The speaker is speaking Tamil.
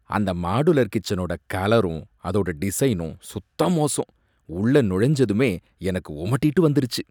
அந்த மாடுலர் கிச்சனோட கலரும் அதோட டிசைனும் சுத்த மோசம், உள்ளே நுழைஞ்சதுமே எனக்கு உமட்டிட்டு வந்துருச்சு!